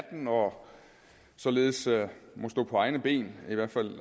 må således stå på egne ben i hvert fald